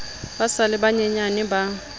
ba sa le banyenyane ba